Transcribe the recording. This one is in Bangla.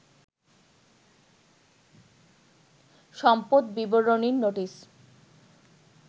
সম্পদ বিবরণীর নোটিস